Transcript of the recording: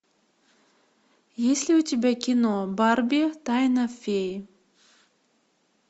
есть ли у тебя кино барби тайна феи